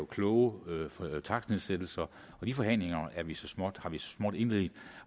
kloge takstnedsættelser de forhandlinger har vi så småt indledt